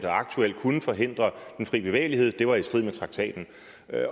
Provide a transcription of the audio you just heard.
aktuelt kunne forhindre den fri bevægelighed var i strid med traktaten